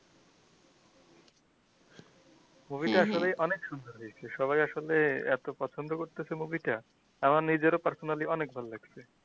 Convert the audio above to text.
movie তা আসলে অনেক সুন্দর দেখতে সবাই আসলে এতো পছন্দ করতেছে মুভি টা আমার নিজের ও personally অনেক ভাললাগছে